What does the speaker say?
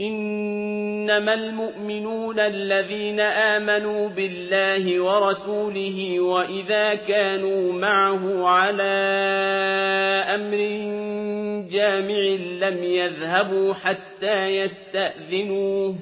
إِنَّمَا الْمُؤْمِنُونَ الَّذِينَ آمَنُوا بِاللَّهِ وَرَسُولِهِ وَإِذَا كَانُوا مَعَهُ عَلَىٰ أَمْرٍ جَامِعٍ لَّمْ يَذْهَبُوا حَتَّىٰ يَسْتَأْذِنُوهُ ۚ